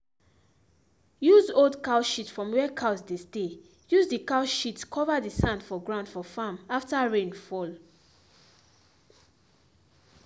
use old cow shit from where cows dey stayuse the cow shit cover the sand for ground for farm after rain fall